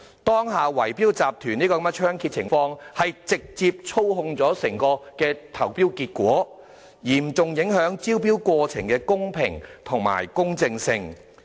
當下圍標集團猖獗，直接操縱整個投標結果，嚴重影響招標過程的公平及公正性。